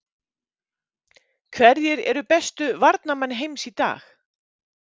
Hverjir eru bestu varnarmenn heims í dag?